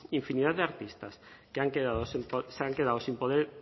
infinidad de artistas se han quedado sin poder